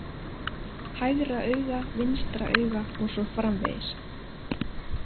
Hægra auga vinstra auga os. frv.